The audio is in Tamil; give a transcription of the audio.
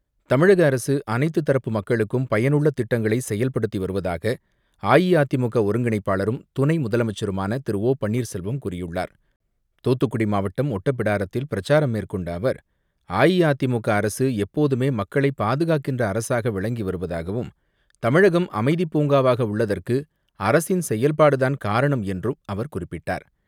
தமிழக அரசு அனைத்து தரப்பு மக்களுக்கும் பயனுள்ள திட்டங்களை செயல்படுத்தி வருவதாக அஇஅதிமுக ஒருங்கிணைப்பாளரும் துணை முதலமைச்சருமான திரு ஓ பன்னீர்செல்வம் கூறியுள்ளார். தூத்துக்குடி மாவட்டம் ஒட்டப்பிடாரத்தில் பிரச்சாரம் மேற்கொண்ட அவர் அஇஅதிமுக அரசு எப்போதுமே மக்களை பாதுகாக்கின்ற அரசாக விளங்கி வருவதாகவும் தமிழகம் அமைதி பூங்காவாக உள்ளதற்கு அரசின் செயல்பாடுதான் காரணம் என்றும் அவர் குறிப்பிட்டார்.